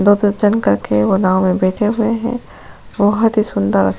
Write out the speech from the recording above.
दो करके वो नाव में बैठे हुए हैं बहुत ही सुंदर --